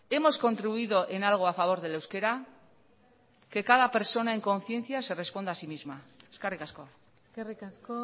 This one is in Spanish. hemos contribuido en algo a favor del euskera que cada persona en conciencia se responda a sí misma eskerrik asko eskerrik asko